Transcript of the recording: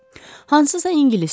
Hansısa ingilisdir.